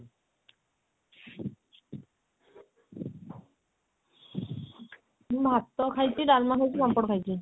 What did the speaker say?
ମୁଁ ଭାତ ଖାଇଛି ଡାଲମା ଖାଇଛି ପାମ୍ପଡ ଖାଇଛି